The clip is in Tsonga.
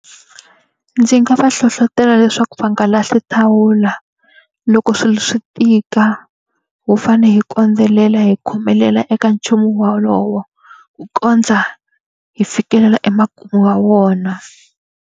Ndzi nga va hlohletela leswaku va nga lahli thawula. Loko swilo swi tika, hi fanele hi kondzelela hi khomelela eka nchumu wolowo ku kondza hi fikelela emakumu ka wona.